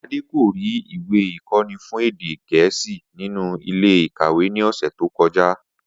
Adé kò rí ìwé ikó̩ni fún èdè Gè̩é̩sì nínú ilé-ìkàwé ní ò̩sè̩ tó ko̩já